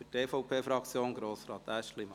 – Für die EVP-Fraktion Grossrat Aeschlimann.